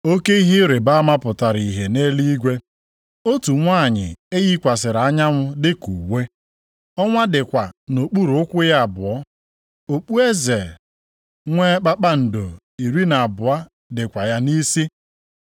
Oke ihe ịrịbama pụtara ihe nʼeluigwe, otu nwanyị e yikwasịrị anyanwụ dịka uwe. Ọnwa dịkwa nʼokpuru ụkwụ ya abụọ. Okpueze nwee kpakpando iri na abụọ dịkwa ya nʼisi.